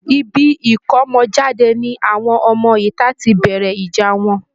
Ibi ìkómọjáde ni àwọn ọmọ ìta ti bẹ̀rẹ̀ ìjà wọn